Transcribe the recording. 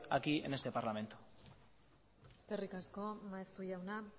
aquí en este parlamento eskerrik asko maeztu jauna